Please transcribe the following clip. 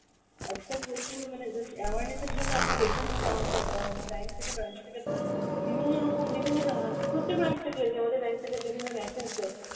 আজকাল প্রচুর মানে just awareness এর জন্য আপনি দেখবেন হয়তো আমাদের অ্যাঁ bank থেকে branch থেকে ধরেন বিভিন্ন রকম বিভিন্ন অ্যাঁ প্রত্যেক branch থেকে আমাদের bank থেকে বিভিন্ন message যায়